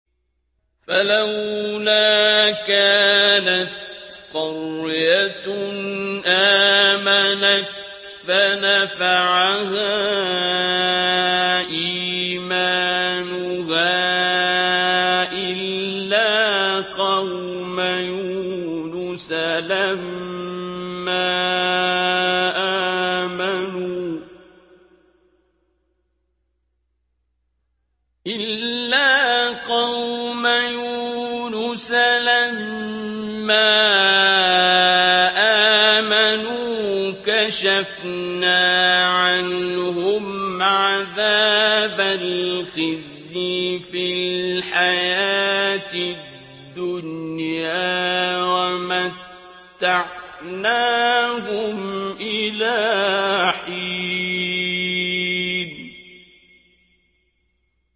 فَلَوْلَا كَانَتْ قَرْيَةٌ آمَنَتْ فَنَفَعَهَا إِيمَانُهَا إِلَّا قَوْمَ يُونُسَ لَمَّا آمَنُوا كَشَفْنَا عَنْهُمْ عَذَابَ الْخِزْيِ فِي الْحَيَاةِ الدُّنْيَا وَمَتَّعْنَاهُمْ إِلَىٰ حِينٍ